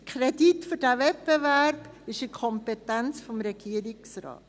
Der Kredit für diesen Wettbewerb ist in der Kompetenz des Regierungsrates.